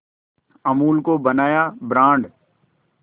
अमूल को बनाया ब्रांड